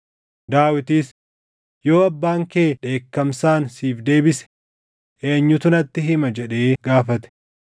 Daawitis, “Yoo abbaan kee dheekkamsaan siif deebise eenyutu natti hima?” jedhee gaafate.